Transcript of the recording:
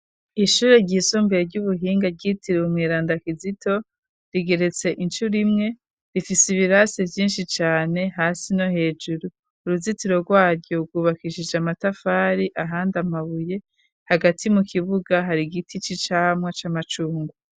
Ishure ry'isumbuye ry'ubuhinga ryitiriwe umweranda kizito rigeretse incuro imwe rifise ibirasi vyinshi cane hasi no hejuru uruzitiro rwaryo gwubakishije amatafari ahandi amabuye hagati mu kibuga hari giti c'icamwa c'umucungwe.